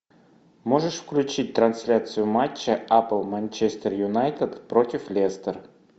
можешь включить трансляцию матча апл манчестер юнайтед против лестер